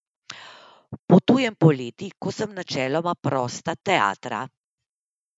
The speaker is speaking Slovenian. Potujem poleti, ko sem načeloma prosta teatra.